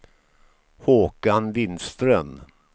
Håkan Lindström